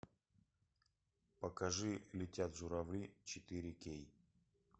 покажи летят журавли четыре кей